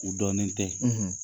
U dɔnnen tɛ.